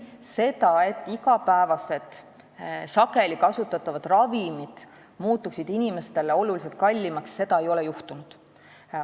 Seda, et igapäevased ja sageli kasutatavad ravimid muutuksid inimestele tuntavalt kallimaks, ei ole juhtunud.